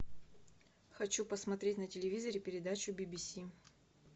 хочу посмотреть на телевизоре передачу би би си